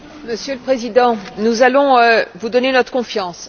Monsieur le Président, nous allons vous donner notre confiance.